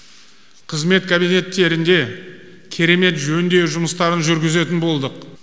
қызмет кабинеттерінде керемет жөндеу жұмыстарын жүргізетін болдық